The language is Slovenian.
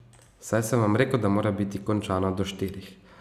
Saj sem vam rekel, da mora biti končano do štirih.